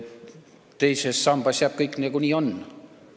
Teises sambas jääb kõik nii, nagu on.